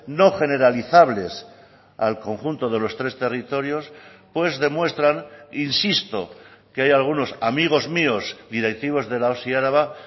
no generalizables al conjunto de los tres territorios pues demuestran insisto que hay algunos amigos míos directivos de la osi araba